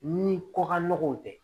Ni ko ka nɔgɔw tɛ